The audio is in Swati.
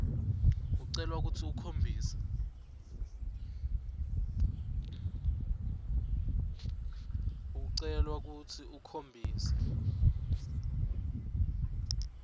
ucelwa kutsi ukhombise